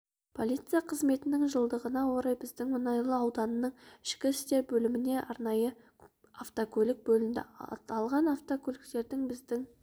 полиция қызметінің жылдығына орай біздің мұнайлы ауданының ішкі істер бөліміне арнайы автокөлік бөлінді аталған автокөліктердің біздің